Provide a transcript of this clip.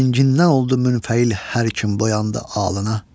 Rəngindən oldu münfəil hər kim boyandı ağına.